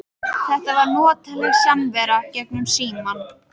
Þetta var notaleg samvera gegnum símann.